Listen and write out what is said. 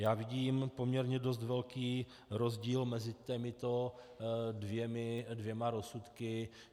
Já vidím poměrně dost velký rozdíl mezi těmito dvěma rozsudky.